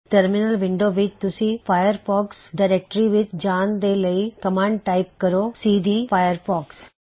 terminal window ਵਿੱਚ ਤੁਸੀਂ Firefox directory ਵਿੱਚ ਜਾਨ ਦੇ ਲਈ ਕਮਾਂਡ ਟਾਇਪ ਕਰੋ ਸੀਡੀ ਫਾਇਰਫੌਕਸ